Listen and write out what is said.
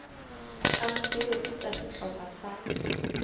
tsa mosebetsi tsa sehlopha sa